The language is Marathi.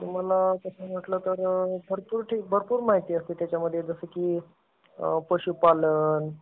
मला तस म्हटलं तर भरपूर माहिती असते त्याच्यामध्ये जसा कि पशुपालन